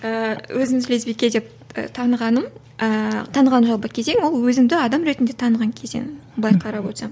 ыыы өзімді лесбике деп і танығаным ііі таныған жалпы кезең ол өзімді адам ретінде таныған кезең былай қарап отырсам